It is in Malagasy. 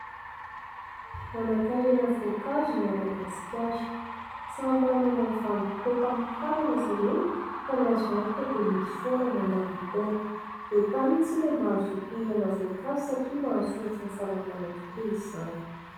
Manan_karena voankazo i Madagasika. Samy manana ny vanim_potoam_pamokarany izy ireny fa ny azo antoka dia misy foana mandavan_taona. Entanina isika mba hazoto hinana voankazo satria mahasoa ny fahasalamana tokoa izany.